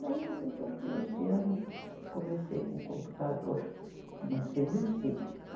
Daí eu resolvi este ano, comecei com o computador, mas resisti.